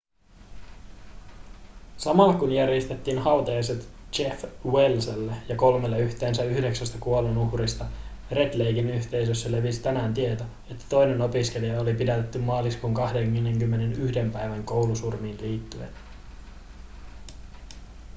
samalla kun järjestettiin hautajaiset jeff welselle ja kolmelle yhteensä yhdeksästä kuolonuhrista red laken yhteisössä levisi tänään tieto että toinen opiskelija oli pidätetty maaliskuun 21 päivän koulusurmiin liittyen